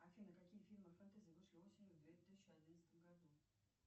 афина какие фильмы фэнтези вышли осенью в две тысячи одиннадцатом году